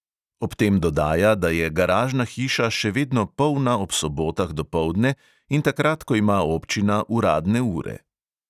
Ob tem dodaja, da je garažna hiša še vedno polna ob sobotah dopoldne in takrat, ko ima občina uradne ure.